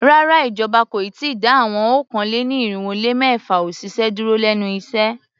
Rárá, ìjọba kò ì tíì dá àwọn okòó-lé-ní-irínwó-lé-mẹ́fà òṣìṣẹ́ dúró lénu iṣẹ́.